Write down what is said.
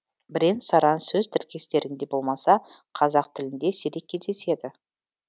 бірен саран сөз тіркестерінде болмаса қазақ тілінде сирек кездеседі